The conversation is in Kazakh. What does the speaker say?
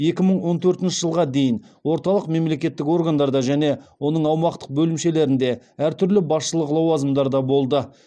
екі мың он төртінші жылға дейін орталық мемлекеттік органдарда және оның аумақтық бөлімшелерінде әртүрлі басшылық лауазымдарда болды